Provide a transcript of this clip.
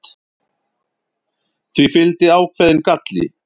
því fylgdi ákveðinn galli